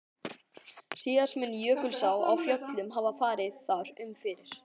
Síðast mun Jökulsá á Fjöllum hafa farið þar um fyrir